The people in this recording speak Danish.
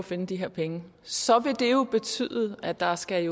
finde de her penge så vil det jo betyde at der skal